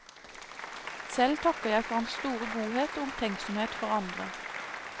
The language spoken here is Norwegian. Selv takker jeg for hans store godhet og omtenksomhet for andre.